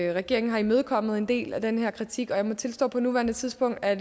regeringen har imødekommet en del af den her kritik og jeg må tilstå på nuværende tidspunkt er